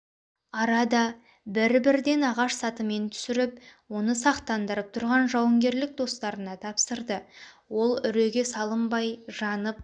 арада бір-бірден ағаш сатымен түсіріп оны сақтандырып тұрған жауынгерлік достарына тапсырды ол үреге салынбай жанып